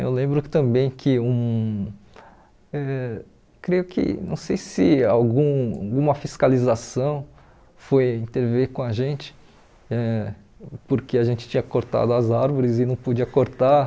Eu lembro também que, hum ãh creio que não sei se algum alguma fiscalização foi intervir com a gente, ãh porque a gente tinha cortado as árvores e não podia cortar.